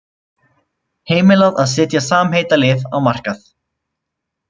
Heimilað að setja samheitalyf á markað